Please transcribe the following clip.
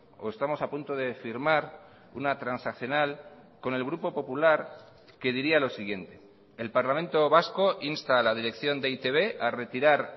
o estamos a punto de firmar una transaccional con el grupo popular que diría lo siguiente el parlamento vasco insta a la dirección de e i te be a retirar